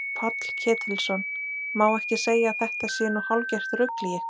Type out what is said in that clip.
Páll Ketilsson: Má ekki segja að þetta sé nú hálfgert rugl í ykkur?